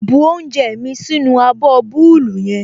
Bu oúnjẹ mí sínú abọ́ búúlù yẹn